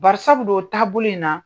Bari sabudo o taabolo in na.